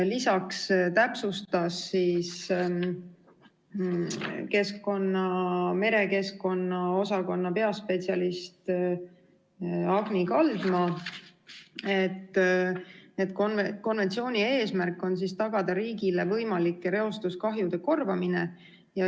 Lisaks täpsustas merekeskkonna osakonna peaspetsialist Agni Kaldma, et konventsiooni eesmärk on tagada riigile võimalike reostuskahjude korvamine.